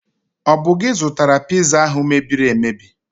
Ọ bụ gi zụtara Piza ahụ mebiri emebi?